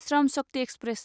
Shram Shakti express